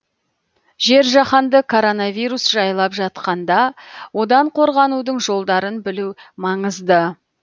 жер жаһанды коронавирус жайлап жатқанда одан қорғанудың жолдарын білу маңызды